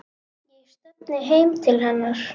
Ég stefni heim til hennar.